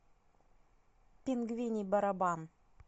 пингвиний барабан